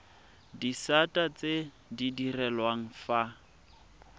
disata tse di direlwang fa